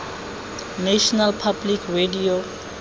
national public radio